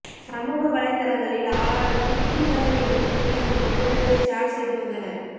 சமூக வலைதளங்களில் ஆளாளுக்கு குட்டி தல என்று கூறி அந்த புகைப்படத்தை ஷேர் செய்து வந்தனர்